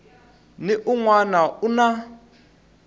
ni un wana u na